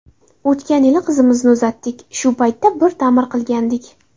O‘tgan yili qizimizni uzatdik, shu paytda bir ta’mir qilgandik.